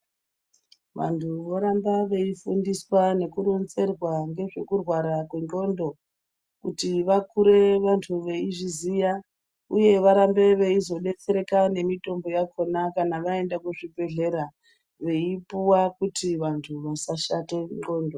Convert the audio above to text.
Vantu voramba veifundiswa nekuronzerwa ngezvekurwara kwe ndxondo kuti vakure vantu veizviziya uye varambe veizodetsereka nemitombo yakona kana vaenda kuzvibhehlera veipuwa kuti vantu vasashate ndxondo.